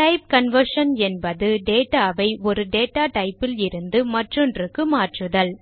type conversion என்பது data ஐ ஒரு டேட்டா type லிருந்து மற்றொன்றுக்கு மாற்றுதல்